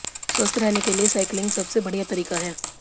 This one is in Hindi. स्वस्थ रहने के लिए साइकिलिंग सबसे बढ़िया तरीका है